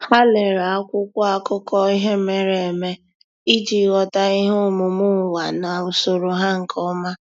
Há lèrè ákwụ́kwọ́ ákụ́kọ́ ihe mere eme iji ghọ́tá ihe omume ụ́wà na usoro ha nke ọma.